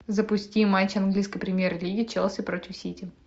запусти матч английской премьер лиги челси против сити